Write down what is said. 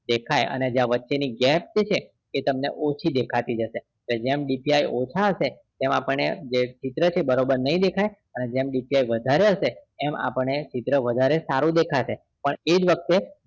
દેખાય અને જે વચ્ચે ની gap છે એ તમને ઓછી દેખાતી હશે તો જેમ DPI ઓછા હશે એમ આપણે ચિત્ર છે એ બરોબર નહિ દેખાય જેમ DPI વધારે હશે એમ આપણે ચિત્ર વધારે સારું દેખાશે પણ એજ વખતે